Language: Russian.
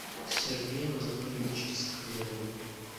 сергеем анатольевичем соколовым